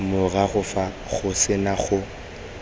morago fa go sena go